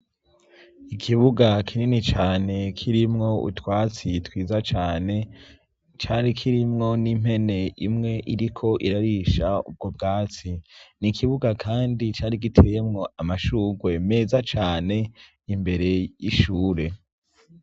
Ikibuga kinini cane kirimwo utwatsi twiza cane, cari kirimwo n'impene imwe iriko irarisha ubwo bwatsi, n'ikibuga kandi cari giteyemwo amashurwe meza cane, imbere y'ishure.